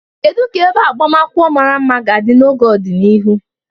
Kedu ka ebe agbamakwụkwọ mara mma ga-adị ka n'ọdịnihu?